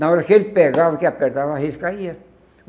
Na hora que ele pegava, que apertava, a caía.